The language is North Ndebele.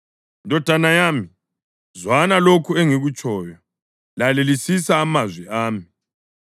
Ndodana yami, zwana lokhu engikutshoyo; lalelisisa amazwi ami.